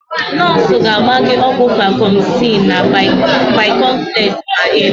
Nọọsụ ga-agba gị ọgwụ Vacomycin na Bi-complex ma Ị laa.